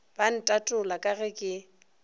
ba ntatola ka ge ke